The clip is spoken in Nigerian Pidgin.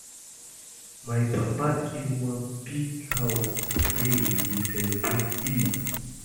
My papa kill one big cow the day we dey celebrate Eid